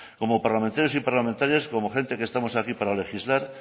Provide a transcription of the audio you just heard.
como parlamentarios y parlamentarias como gentes que estamos aquí para legislar